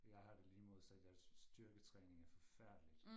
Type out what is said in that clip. Jeg har det lige modsat jeg synes styrketræning er forfærdeligt